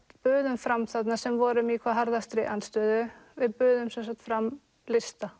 buðum fram þarna sem vorum í hvað harðastri andstöðu við buðum fram lista